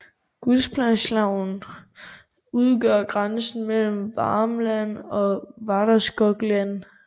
Gullspångsälven udgør grænsen mellem Värmland og Västergötland